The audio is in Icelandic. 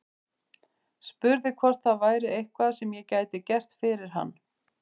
Spurði hvort það væri eitthvað sem ég gæti gert fyrir hann.